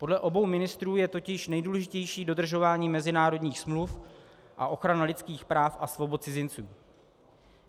Podle obou ministrů je totiž nejdůležitější dodržování mezinárodních smluv a ochrana lidských práv a svobod cizinců.